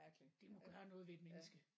Det må gøre noget ved et menneske